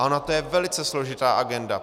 A ona to je velice složitá agenda.